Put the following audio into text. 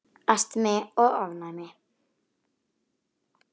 Astmi og ofnæmi